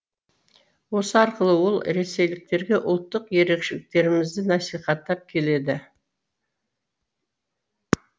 осы арқылы ол ресейліктерге ұлттық ерекшеліктерімізді насихаттап келеді